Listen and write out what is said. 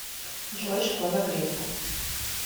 джой школа грефа